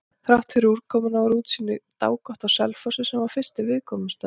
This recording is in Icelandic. Þráttfyrir úrkomuna var útsýni dágott á Selfossi, sem var fyrsti viðkomustaður.